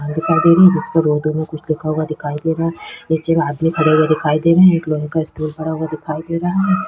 दुकान दिखाई दे रही है जिस पर उर्दू में कुछ लिखा हुआ दिखाई दे रहा है नीचे में आदमी खड़े हुए दिखाई दे रहे है एक लोहे स्टूल खड़ा हुआ दिखाई दे रहा है।